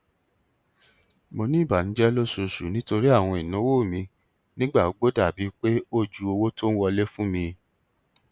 mo ní ìbànújẹ lóṣooṣù nítorí àwọn ìnáwó mi nígbà gbogbo dàbí pé ó ju owó tó ń wọlé fún mi